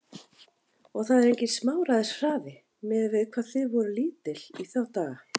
Og það er enginn smáræðis hraði, miðað við hvað þið voruð lítil í þá daga.